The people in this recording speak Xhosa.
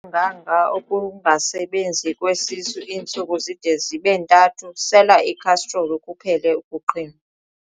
lunganga ukungasebenzi kwesisu iintsuku zide zibe ntathu, sela ikhastroli kuphele ukuqhinwa.